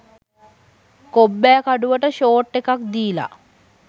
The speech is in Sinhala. කොබ්බෑකඩුවට ෂෝට් ඒක දිලා